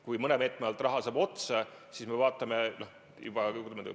Kui mõne meetme alt saab raha otsa, siis me vaatame.